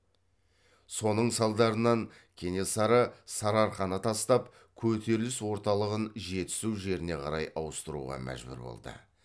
соның салдарынан кенесары сарыарқаны тастап көтеріліс орталығын жетісу жеріне қарай ауыстыруға мәжбүр болды